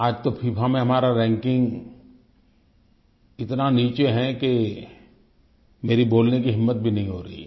आज तो फिफा में हमारा रैंकिंग इतना नीचे है कि मेरी बोलने की हिम्मत भी नहीं हो रही है